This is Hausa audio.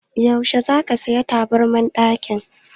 Yaushe za ka saya taburman ɗakin?